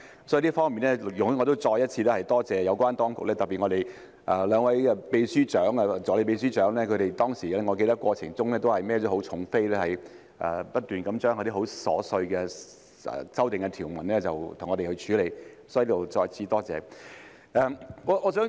所以，在這方面，請容許我再次感謝有關當局，特別是常任秘書長和兩位首席助理秘書長，我記得他們在當時的過程中肩負重任，不斷為我們處理那些很瑣碎的修訂條文，所以，我在此再次感謝他們。